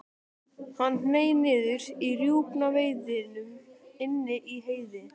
Hann hneig niður á rjúpnaveiðum inni í Heiði.